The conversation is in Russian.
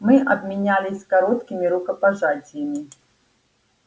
мы обменялись короткими рукопожатиями